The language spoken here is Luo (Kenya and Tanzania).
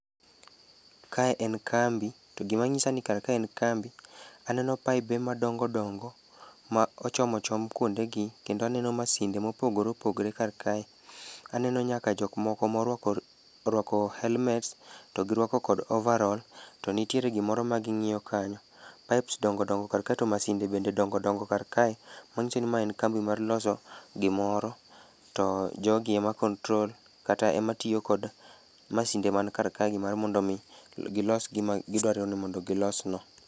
Kae en kambi, to gima nyisa ni kar ka en kambi, aneno paibe madongo dongo ma ochom ochom kwondegi, kendo aneno masinde mopogore opogore kar kae. Aneno nyaka jok moko morwako helmets to girwako kod ovaroll to nitiere gimoro maging'iyo kanyo. pipes dongo dongo kar ka to masinde bende dongo dongo kar kae. Man'gisi ni mae en kambi mar loso gimoro to, jogi ema control kata ema tiyo kod masinde man kar kae mar mondo omi gilso gimagidwaro ni mondo gilos no.